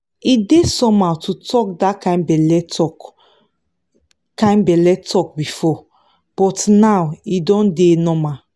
e dey somehow to talk that kind belle talk kind belle talk before but now e don dey normal.